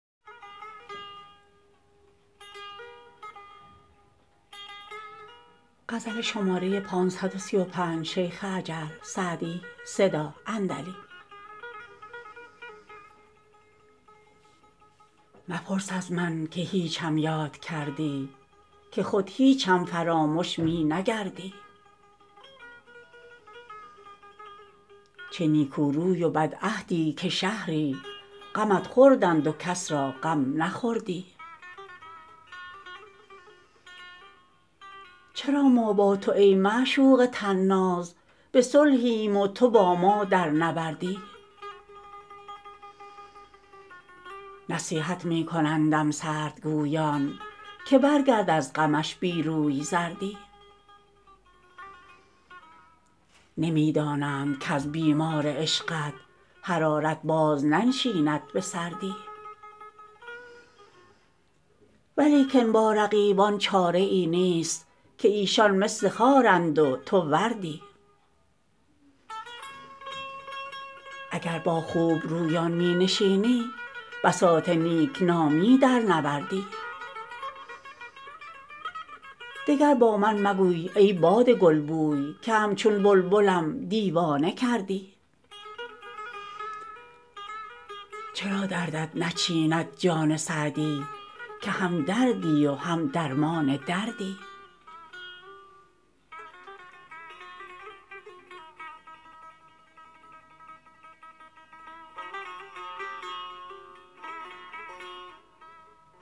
مپرس از من که هیچم یاد کردی که خود هیچم فرامش می نگردی چه نیکو روی و بدعهدی که شهری غمت خوردند و کس را غم نخوردی چرا ما با تو ای معشوق طناز به صلحیم و تو با ما در نبردی نصیحت می کنندم سردگویان که برگرد از غمش بی روی زردی نمی دانند کز بیمار عشقت حرارت باز ننشیند به سردی ولیکن با رقیبان چاره ای نیست که ایشان مثل خارند و تو وردی اگر با خوبرویان می نشینی بساط نیک نامی درنوردی دگر با من مگوی ای باد گلبوی که همچون بلبلم دیوانه کردی چرا دردت نچیند جان سعدی که هم دردی و هم درمان دردی